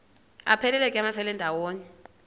aphelela ke amafelandawonye